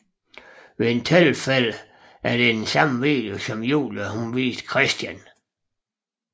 Ved et tilfælde er det den samme video som Julie viste Christian